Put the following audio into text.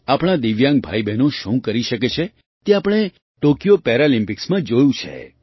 આપણાં દિવ્યાંગ ભાઈબહેન શું કરી શકે છે તે આપણે ટૉકિયો પેરાલિમ્પિક્સમાં જોયું છે